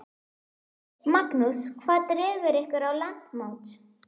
Magnús: Hvað dregur ykkur á landsmót?